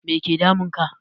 Make damun ka?